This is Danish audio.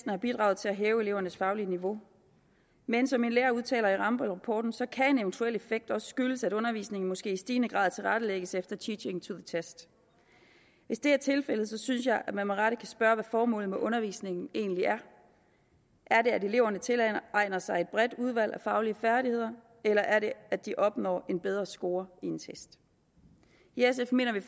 har bidraget til at hæve elevernes faglige niveau men som en lærer udtaler i rambøllrapporten så kan en eventuel effekt også skyldes at undervisningen måske i stigende grad tilrettelægges efter teaching to the test hvis det er tilfældet synes jeg man med rette kan spørge hvad formålet med undervisningen egentlig er er det at eleverne tilegner sig et bredt udvalg af faglige færdigheder eller er det at de opnår en bedre score i en test i sf mener vi